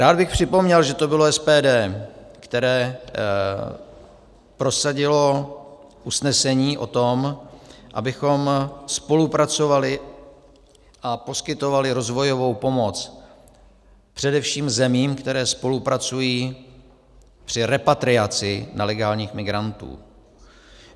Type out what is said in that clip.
Rád bych připomněl, že to bylo SPD, které prosadilo usnesení o tom, abychom spolupracovali a poskytovali rozvojovou pomoc především zemím, které spolupracují při repatriaci nelegálních migrantů.